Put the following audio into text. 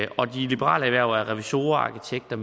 og de liberale erhverv er revisorer arkitekter